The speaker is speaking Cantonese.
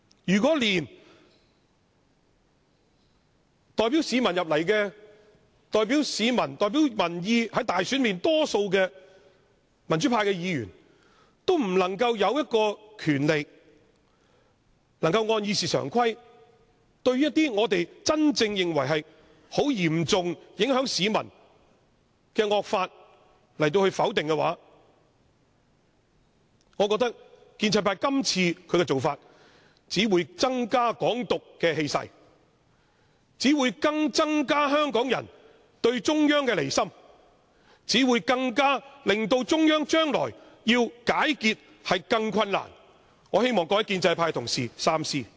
如果連代表市民和民意進入議會、在選舉中獲大多數選票的民主派議員，也不能擁有權力根據《議事規則》否決一些我們認為嚴重影響市民的惡法，我覺得建制派這次的做法只會助長"港獨"的氣勢，只會增加香港人對中央的離心，只會令中央將來要解結更為困難，我希望各位建制派同事三思。